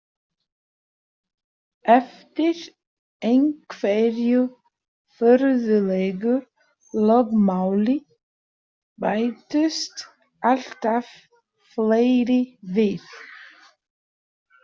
Eftir einhverju furðulegu lögmáli bættust alltaf fleiri við.